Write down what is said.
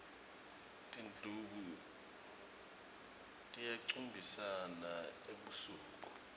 tindlubu tiyacumbisana ebusuku